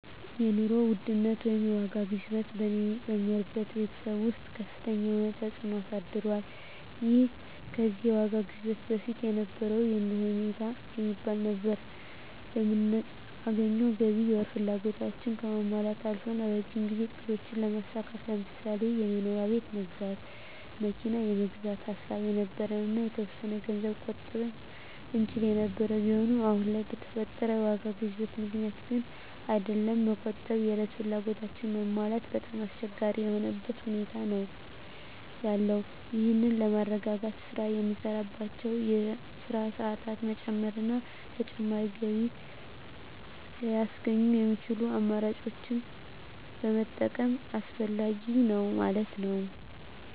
የኑሮ ውድነት ወይንም የዋጋ ግሽበት በእኔ በምኖርበት በቤተሰብ ወስጥ ከፍተኛ የሆነ ተፅእኖ አሳድሯል ይህም ከዚህ የዋጋ ግሽበት በፊት የነበረው የኑሮ ሁኔታ የሚባል ነበር በምናገኘው ገቢ የወር ፍላጎታችን ከማሟላት አልፈን ከረጅም ጊዜ እቅዶችን ለማሳካት ለምሳሌ የመኖሪያ ቤት ለመግዛት መኪና ለመግዛት ሐሳብ የነበረን እና የተወሰነ ገንዘብ መቆጠብ እንችል የነበር ቢሆንም አሁን ለይ በፈጠረው የዋጋ ግሽበቱ ምክንያት ግን አይደለም መቆጠብ የእለት ፍላጎታችን ማሟላት በጣም አስቸጋሪ የሆነበት ሁኔታ ነዎ ያለው ይህን ለማረጋጋት ስራ የምንሳራባቸወን የስራ ሰአት መጨመር እና ተጨማሪ ገቢ ለያስገኙ የሚችሉ አማራጮችን መጠቀም አስፈላጊ ነዉ ማለት ነወ።